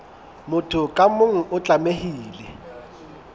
motho ka mong o tlamehile